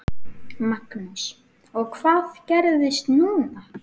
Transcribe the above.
Magnús: Og hvað gerist núna?